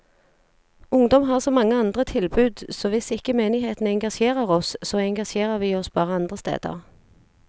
Ungdom har så mange andre tilbud, så hvis ikke menigheten engasjerer oss, så engasjerer vi oss bare andre steder.